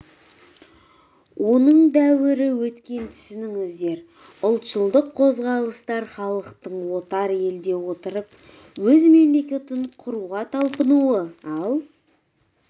оның дәуірі өткен түсініңіздер ұлтшылдық қозғалыстар халықтың отар елде отырып өз мемлекетін құруға талпынуы ал